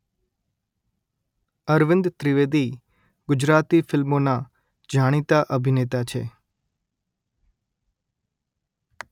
અરવિંદ ત્રિવેદી ગુજરાતી ફિલ્મોના જાણીતા અભિનેતા છે